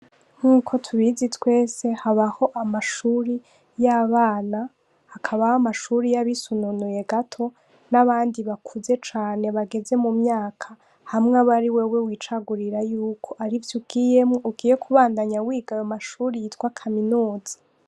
Nkuko tubizi twese habaho amashure y’abana hakabaho amashure y’abisununuye gato n’abandi bakuze cane bageze mu myaka, hamwe aba ari wewe wicagurira yuko arivyo ugiyemwo ugiye kubandanya wiga amashure yitwa kaminuza.